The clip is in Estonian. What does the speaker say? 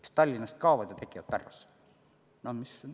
Mis Tallinnast kaovad, need tekivad Pärnusse.